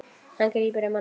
Hann grípur um hana.